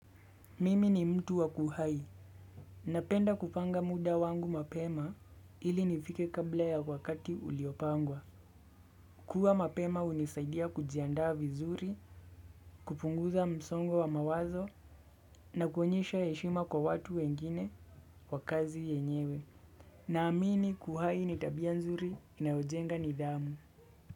Mimi ni mtu wa kuhai. Napenda kupanga muda wangu mapema ili nifike kabla ya wakati uliopangwa. Kuwa mapema hunisaidia kujiandaa vizuri, kupunguza msongo wa mawazo na kuonyesha heshima kwa watu wengine kwa kazi yenyewe. Naamini kuhai nitabia nzuri na hujenga nidhamu.